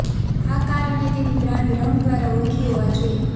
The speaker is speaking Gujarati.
આ કાર અને તેની બ્રાન્ડ રંગ દ્વારા ઓળખી હોવા જોઈએ